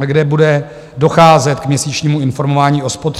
kde bude docházet k měsíčnímu informování o spotřebě.